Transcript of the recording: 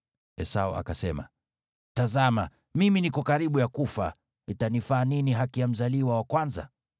Esau akasema, “Tazama, mimi niko karibu ya kufa, itanifaa nini haki ya mzaliwa wa kwanza?”